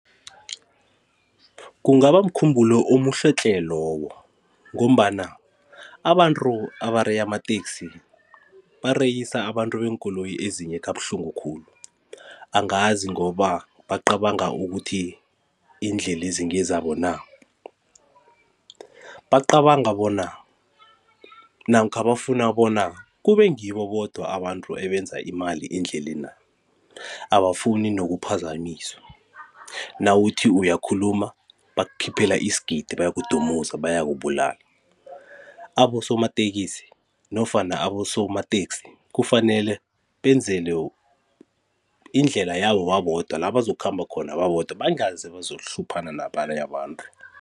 Kungaba mkhumbulo omuhle tle lowo ngombana abantu abareya amateksi bareyisa abantu beenkoloyi ezinye kabuhlungu khulu angazi ngoba bacabanga ukuthi iindlela lezi ngezabo na, bacabanga bona namkha bafuna bona kube ngibo bodwa abantu ebenza imali endlelena abafuni nokuphazamiswa nawuthi uyakhuluma bakukhiphela isigidi bayakudumuza bayakubulala. Abosomatekisi nofana abosomateksi kufanele benzelwe indlela yabo babodwa la bazokukhamba khona babodwa bangeze bazokuhluphana nabanye abantu.